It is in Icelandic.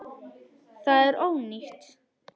Þetta er ónýtt.